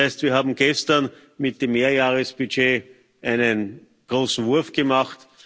Das heißt, wir haben gestern mit dem Mehrjahresbudget einen großen Wurf gemacht.